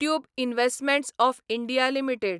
tube investments of India limited